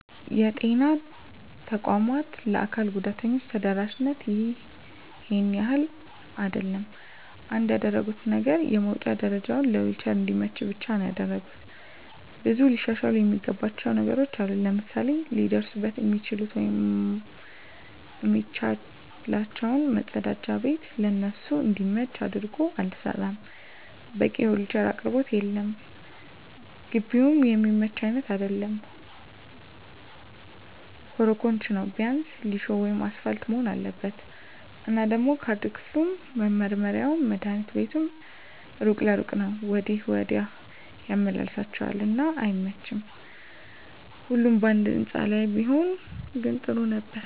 የጤና ተቋማት ለአካል ጉዳተኞች ተደራሽነቱ ይሄን ያህል አይደለም። አንድ ያደረጉት ነገር የመዉጫ ደረጀዉ ለዊልቸር እንዲመች ብቻ ነዉ ያደረጉት። ብዙ ሊሻሻሉ እሚገባቸዉ ነገሮች አሉ፤ ለምሳሌ ሊደርሱበት እሚችሉት ወይም እሚመቻቸዉ መፀዳጃ ቤት ለነሱ እንዲመች አድርጎ አልተሰራም፣ በቂ የዊልቸር አቅርቦት የለም፣ ግቢዉም እሚመች አይነት አይደለም ኮሮኮንች ነዉ ቢያንስ ሊሾ ወይም አሰፓልት መሆን አለበት። እና ደሞ ካርድ ክፍሉም፣ መመርመሪያዉም፣ መድሀኒት ቤቱም እሩቅ ለእሩቅ ነዉ ወዲያ ወዲህ ያመላልሷቸዋል እና አይመቺም ሁሉም ባንድ ህንፃ ላይ ቢሆን ግን ጥሩ ነበር።